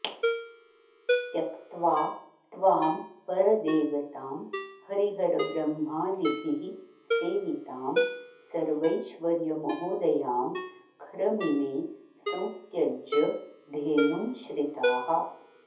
त्यक्त्वा त्वां परदेवतां हरिहरब्रह्मादिभिः सेवितां सर्वैश्वर्यमहोदयां खरमिमे संत्यज्य धेनुं श्रिताः